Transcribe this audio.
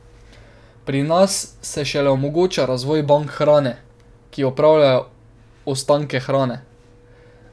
Pri nas se šele omogoča razvoj bank hrane, ki upravljajo ostanke hrane.